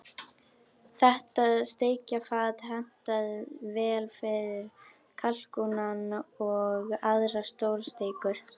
Þetta steikarfat hentar vel fyrir kalkúnann og aðrar stórsteikur.